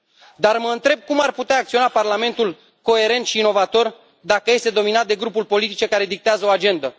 Dar mă întreb cum ar putea acționa Parlamentul coerent și inovator dacă este dominat de grupuri politice care dictează o agendă?